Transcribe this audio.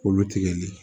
K'olu tigɛli